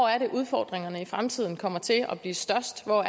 er udfordringerne i fremtiden kommer til at blive størst og